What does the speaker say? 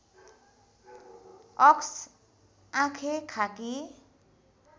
अक्स आँखेँ खाकी